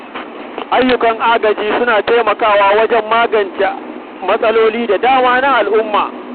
Ayyukan agaji suna taimakawa wajen magance matsaloli da dama na al’umma.